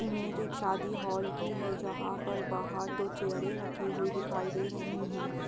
Image एक शादी hall की है जहाँ पर बाहर दो चेयरे रखी हुई दिखाई दे रही है।